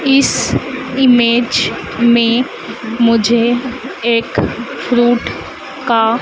इस इमेज में मुझे एक फ्रुट का--